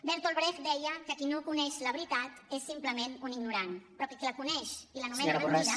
bertolt brecht deia que qui no coneix la veritat és simplement un ignorant però qui la coneix i l’anomena mentida